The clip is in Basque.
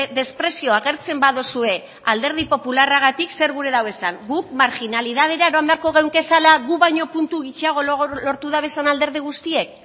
mesprezio agertzen baduzue alderdi popularragatik zerk gura du esan guk marginalitatera eroan beharko genituzkeela guk baino puntu gutxiago lortu dabezenen alderdi guztiek